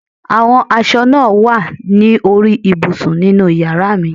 Àwọn aṣọ náà wà ní orí ibùsùn ninú yàrá mi